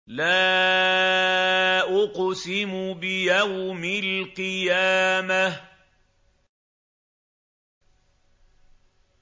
لَا أُقْسِمُ بِيَوْمِ الْقِيَامَةِ